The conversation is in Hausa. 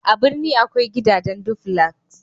a birni akwai gidajen duflas